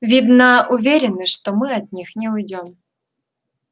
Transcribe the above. видно уверены что мы от них не уйдём